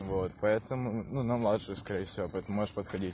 вот поэтому ну на младшую скорее всего поэтому можешь подходить